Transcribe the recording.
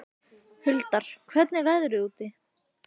Huldar, hvernig er veðrið úti?